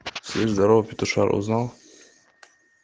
слива здорово петушара узнал